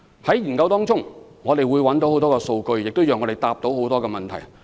在研究期間，我們會收集很多數據，讓我們可回答各項問題。